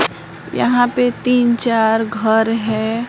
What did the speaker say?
यहां पे तीन चार घर है।